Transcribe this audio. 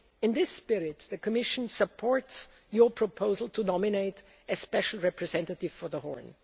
globally. In this spirit, the Commission supports your proposal to nominate a special representative for